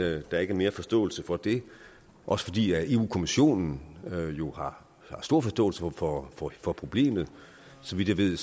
at der ikke er mere forståelse for det også fordi europa kommissionen jo har stor forståelse for for problemet så vidt jeg ved